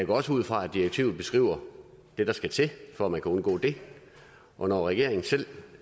går også ud fra at direktivet beskriver det der skal til for at man kan undgå det og når regeringen selv